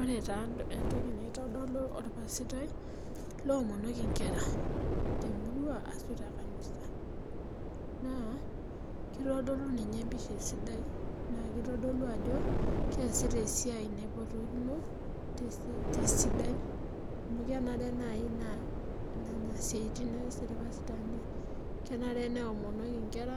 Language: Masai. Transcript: ore taa entoki naitodolu olpasitai naa keomonoki inkera temurua ashu tekanisa naa kitodolu ninye empisha esidai naa kitodolu ajo keesita esiai tesidai amukenare naaji naa nena siaitin ees ilpasitani kenare neomonoki inkera